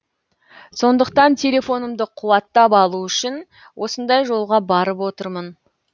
сондықтан телефонымды қуаттап алу үшін осындай жолға барып отырмын